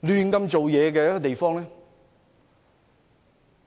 任意妄為的地方呢？